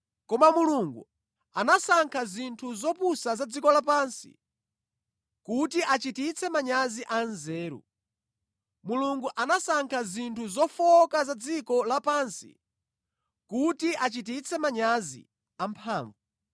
Koma Mulungu anasankha zinthu zopusa za dziko lapansi kuti achititse manyazi anzeru. Mulungu anasankha zinthu zofowoka za dziko lapansi kuti achititse manyazi amphamvu.